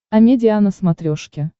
амедиа на смотрешке